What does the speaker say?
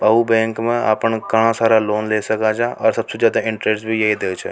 Cow bank में अपन घणा सारा लोन ले सक है और सबसे ज्यादा इंटरेस्ट भी यही देव छ।